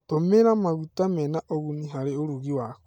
Tũmĩra maguta mena ũguni harĩ ũrugi waku.